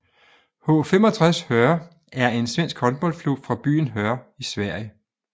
H 65 Höör er en svensk håndboldklub fra byen Höör i Sverige